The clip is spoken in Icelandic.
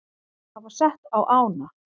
hafa sett á ána.